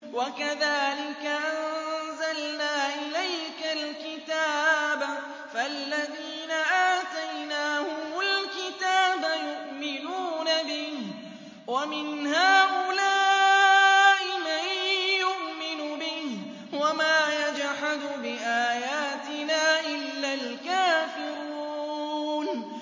وَكَذَٰلِكَ أَنزَلْنَا إِلَيْكَ الْكِتَابَ ۚ فَالَّذِينَ آتَيْنَاهُمُ الْكِتَابَ يُؤْمِنُونَ بِهِ ۖ وَمِنْ هَٰؤُلَاءِ مَن يُؤْمِنُ بِهِ ۚ وَمَا يَجْحَدُ بِآيَاتِنَا إِلَّا الْكَافِرُونَ